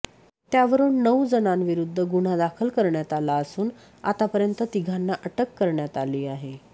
त्यावरून नऊ जणांविरुद्ध गुन्हा दाखल करण्यात आला असून आतापर्यंत तिघांना अटक करण्यात आली आहे